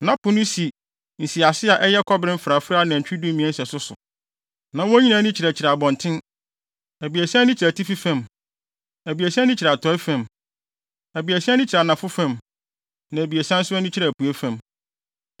Na Po no si nsiase a ɛyɛ kɔbere mfrafrae anantwi dumien sɛso so. Na wɔn nyinaa ani kyerɛkyerɛ abɔnten. Abiɛsa ani kyerɛ atifi fam. Abiɛsa ani kyerɛ atɔe fam. Abiɛsa kyerɛ anafo fam, na abiɛsa nso ani kyerɛ apuei fam.